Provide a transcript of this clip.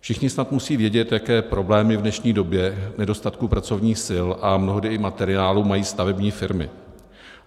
Všichni snad musí vědět, jaké problémy v dnešní době nedostatku pracovních sil a mnohdy i materiálu mají stavební firmy.